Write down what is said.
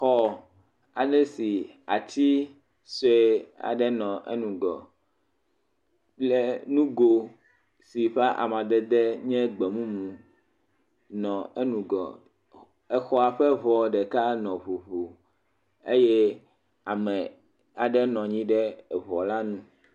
Xɔ aɖe si ati sue aɖe nɔ enugɔ kple nugo si ƒe amadede nye gbemumu nɔ enugɔ. Exɔa ƒe ŋɔ ɖeka nɔ ŋuŋu eye ame aɖe nɔ anyi ɖe eŋu la nu.